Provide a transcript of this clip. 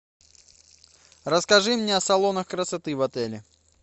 расскажи мне о салонах красоты в отеле